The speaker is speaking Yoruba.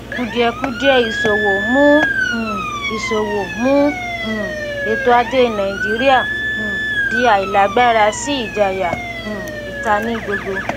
kùdìẹ̀kudiẹ ìsòwò mú um ìsòwò mú um ètò ajé nàìjíríà um di àìlágbára sí ìjayà um ìta ní gbogbo.